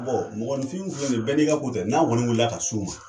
Bɔn mɔgɔninfinw filɛ nin ye bɛɛ nin ka ko tɛ n'an kɔni wulila ka s'u ma